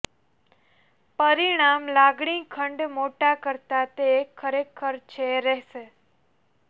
પરિણામ લાગણી ખંડ મોટા કરતાં તે ખરેખર છે રહેશે